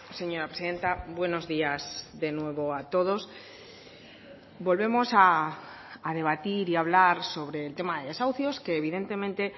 señora presidenta buenos días de nuevo a todos volvemos a debatir y a hablar sobre el tema de desahucios que evidentemente